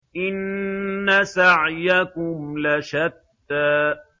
إِنَّ سَعْيَكُمْ لَشَتَّىٰ